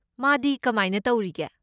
ꯃꯥꯗꯤ ꯀꯃꯥꯏꯅ ꯇꯧꯔꯤ?